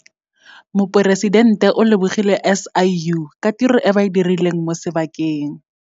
Moporesitente o lebogile SIU ka tiro e ba e dirileng mo sebakeng.